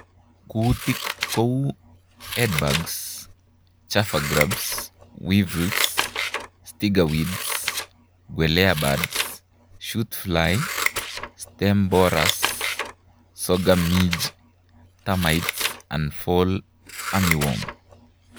Kuutik kouu Headbugs, Chafer grubs, Weevils, Striga weed, quelea birds, shoot fly, Stem borers, Sorghum midge, termites and Fall armyworm